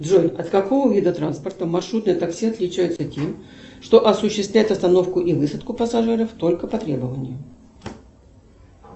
джой от какого вида транспорта маршрутное такси отличается тем что осуществляет остановку и высадку пассажиров только по требованию